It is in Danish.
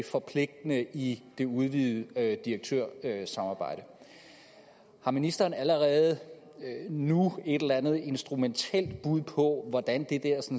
forpligtende i det udvidede direktørsamarbejde har ministeren allerede nu et eller andet instrumentelt bud på hvordan det